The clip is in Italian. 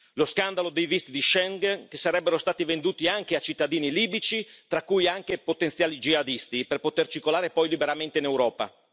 Lo scandalo dei visti di Schengen, che sarebbero stati venduti anche a cittadini libici, tra cui anche potenziali jihadisti per poter circolare poi liberamente in Europa.